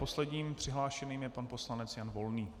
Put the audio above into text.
Posledním přihlášeným je pan poslanec Jan Volný.